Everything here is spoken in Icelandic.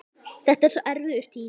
Þetta var svo erfiður tími.